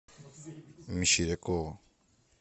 мещерякова